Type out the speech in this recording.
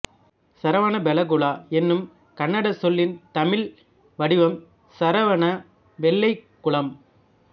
சரவணபெலகுளா என்னும் கன்னடச் சொல்லின் தமிழ் வடிவம் சரவண வெள்ளைக்குளம்